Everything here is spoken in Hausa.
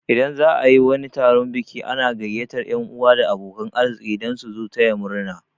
Idan za'a yi wani taron biki ana gaiyatar yan 'uwa da abokan arziki dan su zo taya murna